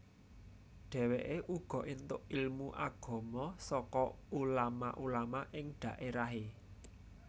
Dheweke uga entuk ilmu agama saka ulama ulama ing dhaerahe